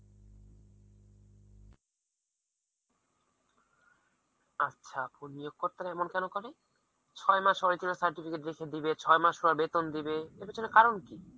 আচ্ছা এখন নিয়োগ কর্তারা এমন কেন করে? ছ'য় মাস হয়েছিল certificate রেখে দিবে, ছ'য় মাস পর বেতন দিবে এর পেছনে কারণ কি?